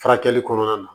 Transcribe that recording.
Furakɛli kɔnɔna na